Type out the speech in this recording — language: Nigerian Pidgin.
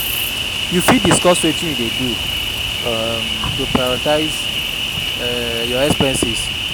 you fit discuss wetin you dey do um to prioritize um your expenses?